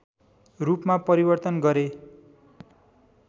रूपमा परिवर्तन गरे